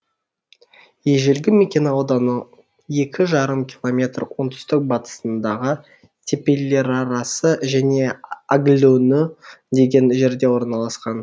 ежелгі мекен ауданның екі жарым километр оңтүстік батысындағы тепелерарасы және агылөнү деген жерде орналасқан